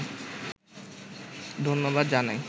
ধন্যবাদ জানাই